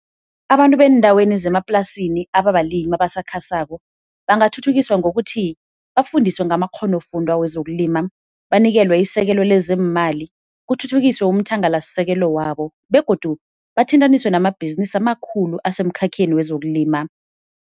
Abantu beendaweni zemaplasini ababalimi abasakhasako bangathuthukiswa ngokuthi bafundiswe ngamakghonofundwa wezokulima, banikelwe isekelo lezeemali, kuthuthukiswe umthangalasisekelo wabo begodu bathintaniswe namabhizinisi amakhulu asemkhakheni wezokulima.